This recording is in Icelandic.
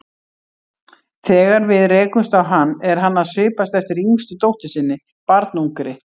Þegar við rekumst á hann er hann að svipast eftir yngstu dóttur sinni, barnungri.